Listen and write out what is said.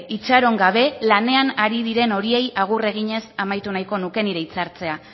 itxaron gabe lanean ari diren horiei agur eginez amaitu nahiko nuke nire itzartzea